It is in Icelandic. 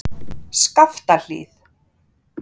Skaftahlíð